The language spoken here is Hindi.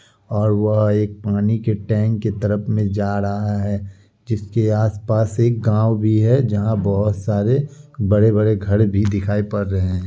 --और वह एक पानी की टैंक की तरफ मे जा रहा है जीसके आसपास एक गांव भी है जहां बहुत सारे बड़े-बड़े घर भी दिखाई पड़ रहे हैं।